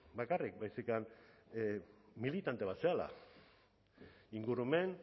bakarrik baizik militante bat zarela ingurumen